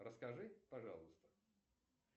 расскажи пожалуйста